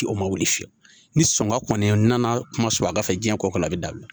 O ma wuli fiyewu ni sɔngɔ kɔni nana kuma surunya ka fɛ jiɲɛ ko kɔrɔ a bɛ dabila